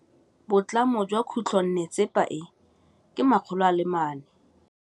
Boatlhamô jwa khutlonnetsepa e, ke 400.